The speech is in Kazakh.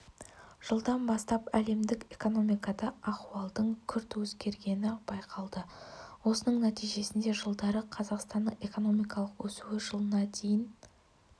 жылдан бастап әлемдік экономикада ахуалдың күрт өзгергені байқалды осының нәтижесінде жылдары қазақстанның экономикалық өсуі жылына дейін